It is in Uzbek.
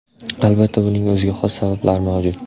Albatta, buning o‘ziga xos sabablari mavjud.